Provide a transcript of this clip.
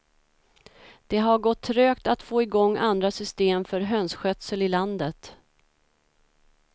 Det har gått trögt att få i gång andra system för hönsskötsel i landet.